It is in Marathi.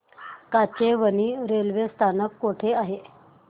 काचेवानी रेल्वे स्थानक कुठे आहे